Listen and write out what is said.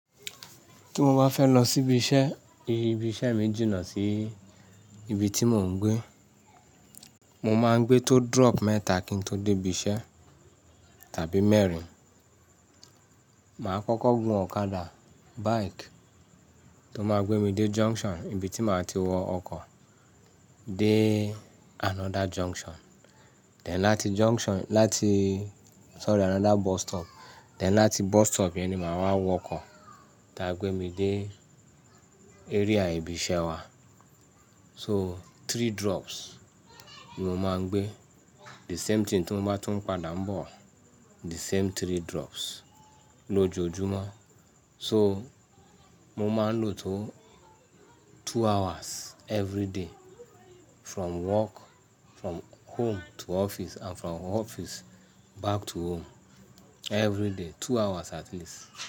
Tí mo bá fẹ́ lọ síbi iṣẹ́, ibi iṣẹ́ mi jìnà sí ibi tí mò ń gbé. Mo máa ń gbé tó drop mẹ́ta kí n tó dé ibi iṣẹ́ tàbí mẹ́rin. Màá kọ́kọ́ gun ọ̀kadà, bike tó máa gbé mi dé junction, ibi tí màá ti wọ ọkọ̀ dé another junction. Tẹ láti junction, láti-- sorry, another bus stop. Tẹ láti bus stop yẹn ni màá wá wọ ọkọ̀ tá gbé mi dé area ibi iṣẹ́ wa. So three drops ni mo máa ń gbé. The same thing tí mo bá tún padà ń bọ̀, the same three drops lójoojúmọ́. So mo máa ń lò tó two hours every day from work, from home to office and from office back to home every day, two hours at least.